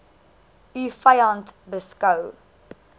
u vyand beskou